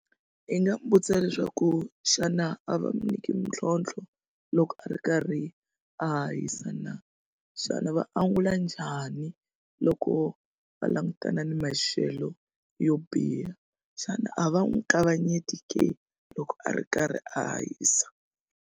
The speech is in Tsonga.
I nga mu vutisa leswaku xana a va mi nyiki mitlhontlho loko a ri karhi a hahisa na, xana va angula njhani loko va langutana ni maxelo yo biha xana a va n'wi kavanyeti ke loko a ri karhi a hahisa?